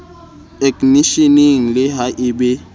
eknisheneng le ha e be